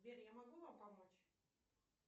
сбер я могу вам помочь